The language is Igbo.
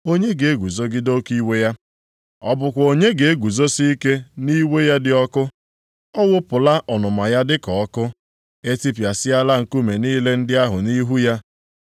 Onye ga-eguzogide oke iwe ya? Ọ bụkwa onye ga-eguzosi ike nʼiwe ya dị ọkụ? A wụpụla ọnụma ya dịka ọkụ, e tipịasịala nkume niile ndị ahụ nʼihu ya.